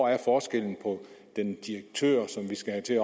er forskellen på den direktør som vi skal have til at